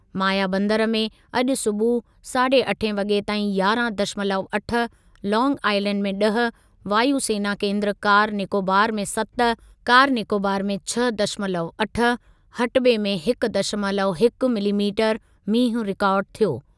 मायाबंदर में अॼु सूबुह साढ़े अठे वॻे ताईं यारहं दशमलव अठ, लांग आइलैंड में ॾह, वायु सेना केन्द्र कार निकोबार में सत कार निकोबार में छह दशमलव अठ, हटबे में हिक दशमलव हिक मिलीमीटर मींहुं रिकार्ड थियो।